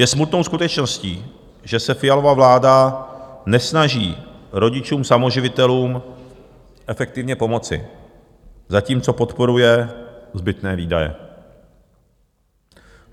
Je smutnou skutečností, že se Fialova vláda nesnaží rodičům samoživitelům efektivně pomoci, zatímco podporuje zbytné výdaje.